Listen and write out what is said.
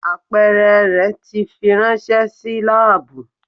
Apeere rẹ ti firanṣẹ si laabu.